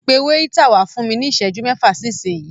Pẹ wáítà wá fún mí ní ìsẹ́jú mẹ́fà sí ìsinyi.